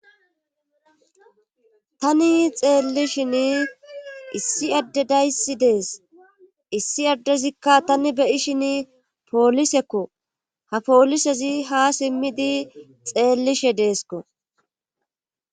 tani xeellishin issi addedayssi dees issi addezikka tani beyishin poolisekko ha poolisezi ha simmidi xeellishe deeskko